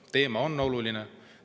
Teema on oluline.